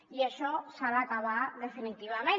i això s’ha d’acabar definitivament